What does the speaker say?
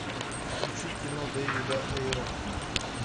включи кино дэвида эйра